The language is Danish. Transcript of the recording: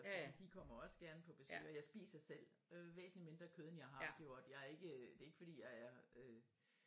Fordi de kommer også gerne på besøg og jeg spiser selv øh væsentligt mindre kød end jeg har gjort jeg er ikke det ikke fordi jeg er øh